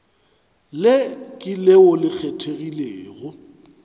le ke leo le kgethegilego